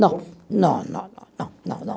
Não. Não, não, não, não, não, não.